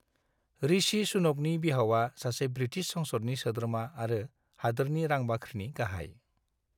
ऋषि सुनकनि बिहावा सासे ब्रिटिश संसदनि सोद्रोमा आरो हादोरनि रां बाख्रिनि गाहाय।